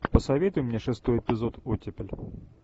посоветуй мне шестой эпизод оттепель